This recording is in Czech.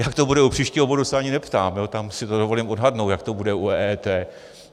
Jak to bude u příštího bodu se ani neptám, tam si to dovolím odhadnout, jak to bude u EET.